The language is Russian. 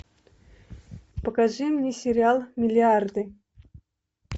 покажи мне сериал миллиарды